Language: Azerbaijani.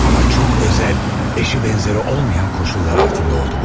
Amma çox özel, eşi bənzəri olmayan koşullar altında oldu bu.